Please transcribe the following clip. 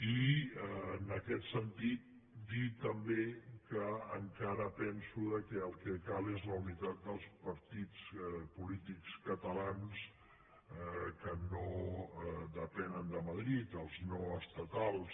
i en aquest sentit dir també que encara penso que el que cal és la unitat dels partits polítics catalans que no depenen de madrid els no estatals